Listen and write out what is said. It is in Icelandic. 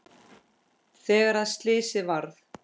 Þegar að slysið varð?